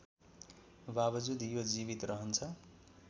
बावजुद यो जीवित रहन्छ